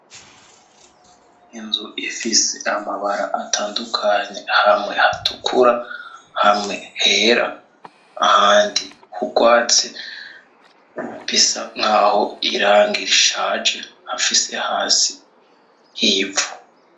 Inzu ifise amabara atandukanye hamwe hatukura, hamwe hera, ahandi hugwatsi, bisa naho irangi rishaje, hafise hasi hivu.